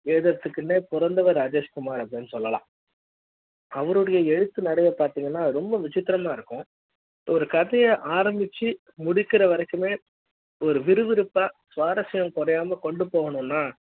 எழுதறர்த்துக்குனே பொறந்தவர் ராஜேஷ்குமார் அப்டினு சொல்லலாம் அவருடைய எழுத்து நடைய பாத்தீங்கன்னா ரொம்ப விஷயம் இருக்கும் ஒரு கதைய ஆரம்பிச்சு முடிக்கிற வரைக்குமே விறுவிறுப்பான சுவாரஸ்ய ம் குறையாமல் கொண்டு போகணும்னா